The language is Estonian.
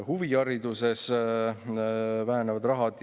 Huvihariduses väheneb raha.